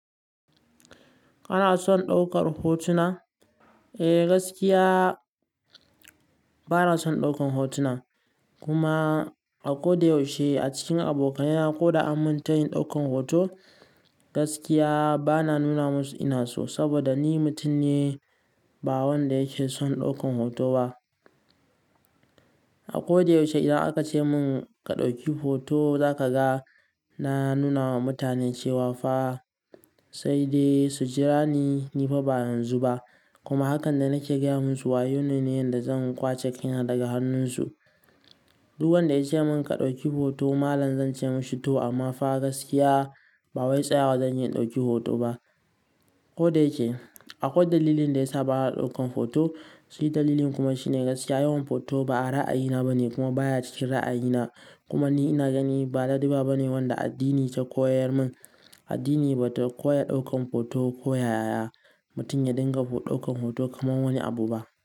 Kana son ɗaukar hotuna? Eh gaskiya bana son ɗaukan hotuna, kuma a kodayaushe a cikin abokanaina ko da an mun tayin ɗaukan hoto gaskiya bana nuna musu ina so saboda ni mutum ne ba wanda yake son ɗaukan hoto ba. A kodayaushe idan aka ce mun ka ɗauki hoto za ka ga na nuna wa mutane cewa fa sai dai su jira ni, ni fa ba yanzu ba kuma hakan da nake gaya musu wayo ne na yanda zan ƙwace kaina daga hannunsu. Duk wanda ya ce mun ka ɗauki hoto malam zan ce mishi to amma fa gaskiya ba wai tsaya zan yi in ɗauki hoto ba. Ko da yake akwai dalilin da yasa bana ɗaukan hoto, shi dalilin kuma shine gaskiya yawan photo ba ra'ayina bane kuma baya cikin ra'ayina. Kuma ni ina gani ba laduba ba ne wanda addini ta koyar mun. Addini ba ta koya ɗaukan photo ko yaya mutum ya dinga ɗaukan hoto kamar wani abu ba.